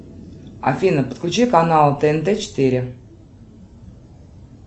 афина подключи канал тнт четыре